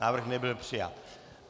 Návrh nebyl přijat.